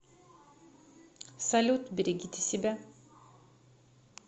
салют берегите себя